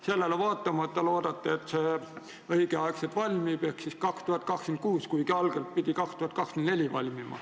Sellele vaatamata loodate, et raudtee valmib õigel ajal ehk 2026, kuigi algselt pidi see valmima 2024.